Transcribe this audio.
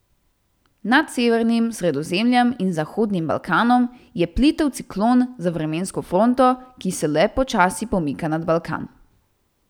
Nad severnim Sredozemljem in zahodnim Balkanom je plitev ciklon z vremensko fronto, ki se le počasi pomika nad Balkan.